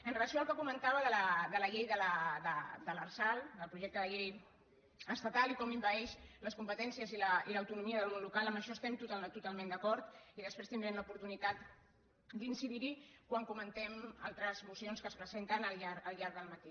amb relació al que comentava de la llei de l’arsal del projecte de llei estatal i com envaeix les competències i l’autonomia del món local en això estem totalment d’acord i després tindrem l’oportunitat d’incidir hi quan comentem altres mocions que es presenten al llarg del matí